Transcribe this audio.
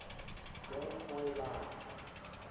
game boy line